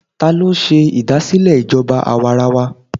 Ta ló ṣe ìdásílẹ̀ ìjọba àwarawa?